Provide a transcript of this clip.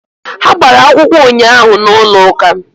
Ha gbara akwụkwọ ụnyaahụ n'ụlọ ụka